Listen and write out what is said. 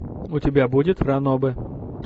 у тебя будет ранобэ